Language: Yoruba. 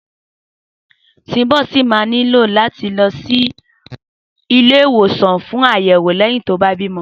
Sùnḿbọ̀ ṣì máa nílò láti lọ sílé ìwòsàn fún àyẹ̀wò lẹ́yìn tó bá bímọ